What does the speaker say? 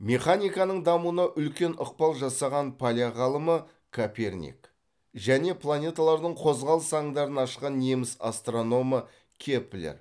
механиканың дамуына үлкен ықпал жасаған поляк ғалымы коперник және планеталардың қозғалыс заңдарын ашқан неміс астрономы кеплер